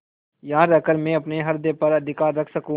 यहाँ रहकर मैं अपने हृदय पर अधिकार रख सकँू